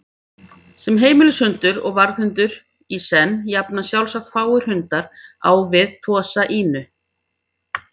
Sem heimilishundur og varðhundur í senn jafnast sjálfsagt fáir hundar á við Tosa Inu.